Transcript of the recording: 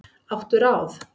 Áttu ráð?